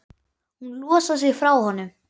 Hún losar sig frá honum.